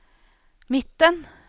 midten